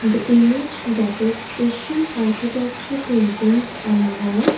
The image depicts asian architecture paintings on a wall.